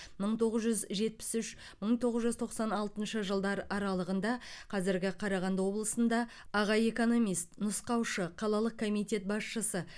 мың тоғыз жүз жетпіс үш мың тоғыз жүз тоқсан алтыншы жылдар аралығында қазіргі қарағанды облысында аға экономист нұсқаушы қалалық комитет басшысы